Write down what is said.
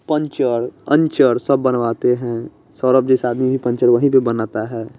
Puncture अंचर सब बनवाते हैं सौरभ जैसा आदमी भी पंचर वही पे बनाता है।